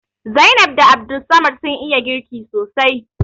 Zainab da Abdulsamad sun iya girki sosai